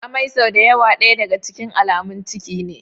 Amai sau da yawa daya daga cikin alamun ciki ne.